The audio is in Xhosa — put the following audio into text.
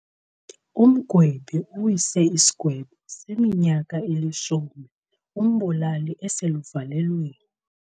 Umgwebi uwise isigwebo seminyaka elishumi umbulali eseluvalelweni.